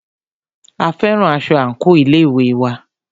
A fẹ́ran aṣọ àńkò ilé ìwé wa